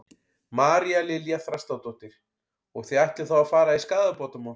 María Lilja Þrastardóttir: Og þið ætlið þá að fara í skaðabótamál?